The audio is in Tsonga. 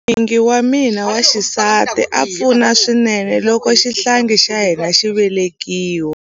N'wingi wa mina wa xisati a pfuna swinene loko xihlangi xa hina xi velekiwa.